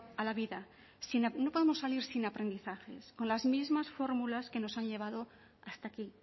a la vida no podemos salir sin aprendizajes con las mismas fórmulas que nos han llevado hasta aquí